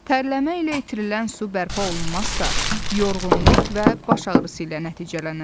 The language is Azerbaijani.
Tərləmə ilə itirilən su bərpa olunmazsa, yorğunluq və baş ağrısı ilə nəticələnər.